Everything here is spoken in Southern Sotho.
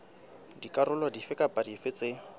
dikarolo dife kapa dife tse